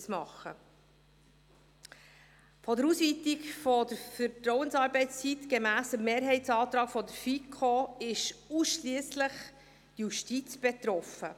Von der Ausweitung der Vertrauensarbeitszeit gemäss Mehrheitsantrag der FiKo ist ausschliesslich die Justiz betroffen.